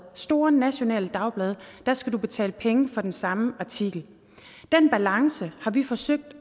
store nationale dagblade skal betale penge for den samme artikel den balance har vi forsøgt